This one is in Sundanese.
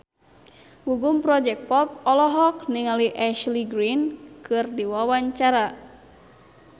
Gugum Project Pop olohok ningali Ashley Greene keur diwawancara